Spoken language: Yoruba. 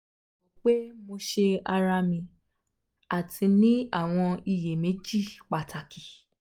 mo ro pe mo se ara mi ati ni awọn iyemeji pataki